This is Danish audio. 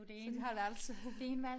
Så de har et værelse